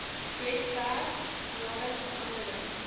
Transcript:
webwerf nadat veranderings